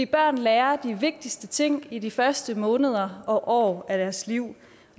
børn lærer de vigtigste ting i de første måneder og år af deres liv og